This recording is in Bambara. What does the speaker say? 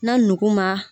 Na nugu ma